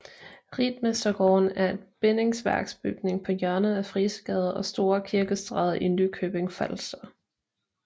Ritmestergården er en bindingsværksbygning på hjørnet af Frisegade og Store Kirkestræde i Nykøbing Falster